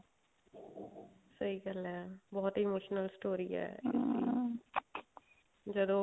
ਸਹੀ ਗੱਲ ਹੈ ਬਹੁਤ emotional story ਹੈ ਜਦੋਂ